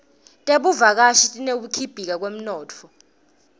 tebuvakashi tineteku khibika temnotfo